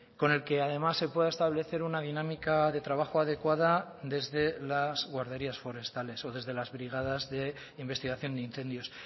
con el que además se pueda establecer una dinámica de trabajo adecuada desde las guarderías forestales o desde las brigadas de investigación de incendios